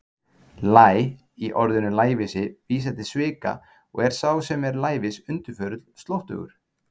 Læ- í orðinu lævísi vísar til svika og er sá sem er lævís undirförull, slóttugur.